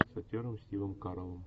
с актером стивом кареллом